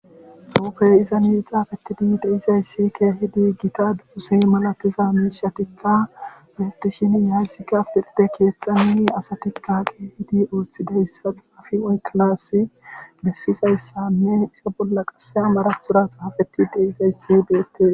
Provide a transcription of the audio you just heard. Xuufey izani xaafetidi de'izay keehidi gita dose malatiza miishatikka beetishin haysikka pirde keeththan asati xaafishe wotidaysa xaafishe oykkanasi besizaysanne a bolla qasse amaratora xafetidi de'izayssi beetees.